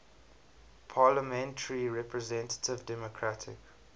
parliamentary representative democratic